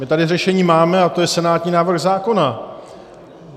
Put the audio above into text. My tady řešení máme a to je senátní návrh zákona.